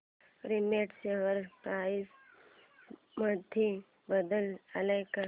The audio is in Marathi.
रेमंड शेअर प्राइस मध्ये बदल आलाय का